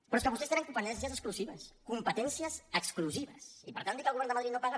però és que vostès tenen competències exclusives competències exclusives i per tant dir que el govern de madrid no paga